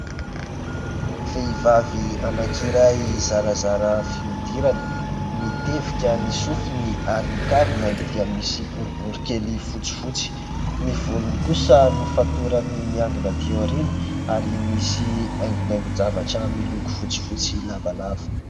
Vehivavy anankiray zarazara fihodirana, mitevika ny sofiny ary ny kavinany dia misy boribory kely fotsifotsy. Ny volony kosa nofatorany niangona aty aoriana ary misy haingonaingon-javatra miloko fotsy fotsy lavalava.